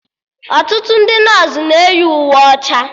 Ọtụtụ ndị nọsụ na-eyi uwe ọcha